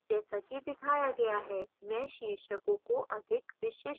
जैसा कि दिखाया गया है मैं शीर्षकों को अधिक विशिष्ट बनाऊंगी